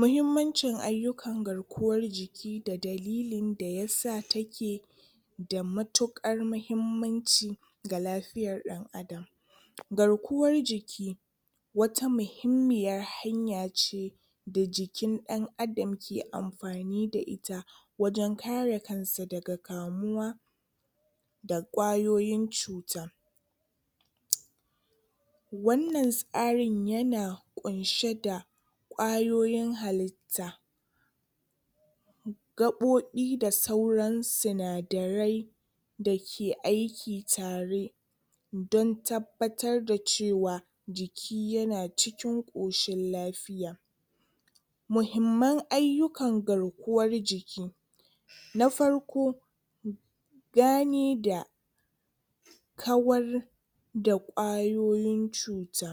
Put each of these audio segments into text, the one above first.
Muhimmancin ayukka garkuwar jiki da dalilin da yasa take da matuƙar mahimmanci ga lafiyar ɗa. Garkuwar jiki wata muhimmiyar hanya ce da jikin ɗan-adam ke amfani da ita wajen kare kansa daga kamuwa da ƙwayoyin cuta. Wannan tsarin ya na ƙunshe da ƙwayoyin halitta gaɓoɓi da sauran sinadarai da ke aiki tare don tabbatar da cewa jiki ya na cikin ƙoshin lafiya. Muhimman ayukkan garkuwar jiki; Na farko gane da kawar da ƙwayoyin cuta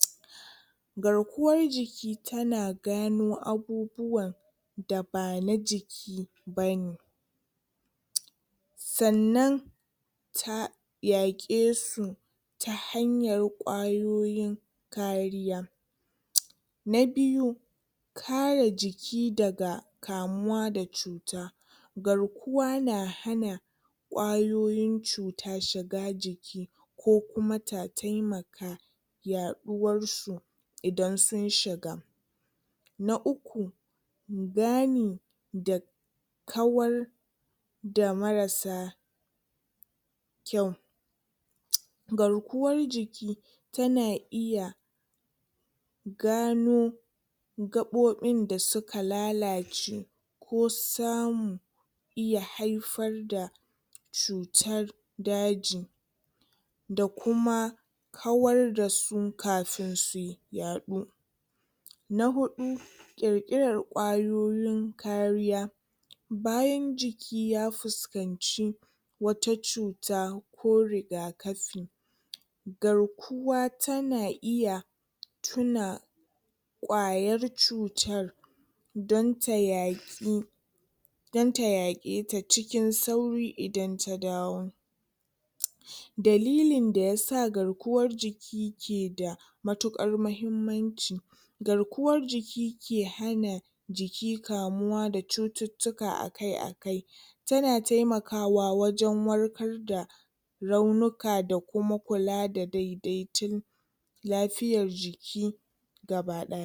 garkuwar jiki ta na gano abubuwa da ba na jiki bane. Sannan ta yaƙe su ta hanyar ƙwayoyin kariya. Na biyu kare jiki daga kamuwa da cuta. Garkuwa na hana ƙwayoyin cuta shiga jiki ko kuma ta taimaka yaɗuwar su idan sun shiga. Na uku gani da kawar da marasa kyau. Garkuwar jiki ta na iya gano gaɓoɓin da suka lalace ko samu iya haifar da cutar daji da kuma kawar da su kafin su yaɗu. Na huɗu ƙir-ƙirar ƙwayoyin kariya. Bayan jiki ya fuskanci wata cuta ko rigakafi garkuwa ta na iya tuna ƙwayar cutar don ta yaƙi don ta yaƙe cikin sauƙi idan ta dawo. Dalilin da yasa garkuwar jiki ke da matuƙar mahimmanci garkuwar jiki ke hana jiki kamuwa da cututtuka akai-akai ta na taimakawa wajen warkar da raunuka da kuma kula da dai-daitun lafiyar jiki gaba-ɗaya.